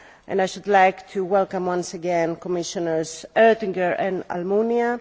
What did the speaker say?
I should like to welcome once again Commissioners Oettinger and Almunia.